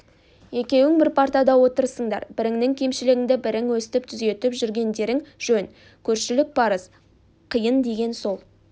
екеуің бір партада отырсыңдар біріңнің кемшілігіңді бірің өстіп түзетіп жүргендерің жөн көршілік парыз қиын деген сол